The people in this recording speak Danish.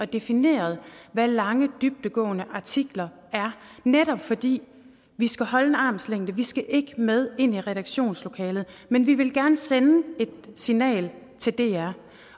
defineret hvad lange dybdegående artikler er netop fordi vi skal holde en armslængde vi skal ikke med ind i redaktionslokalet men vi vil gerne sende et signal til dr